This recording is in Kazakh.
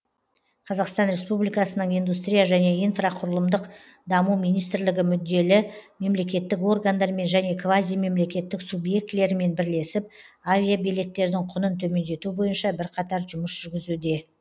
қазақстан республикасының индустрия және инфрақұрылымдық даму министрлігі мүдделі мемлекеттік органдармен және квазимемлекеттік субъектілерімен бірлесіп авиабилеттердің құнын төмендету бойынша бірқатар жұмыс жүргізуде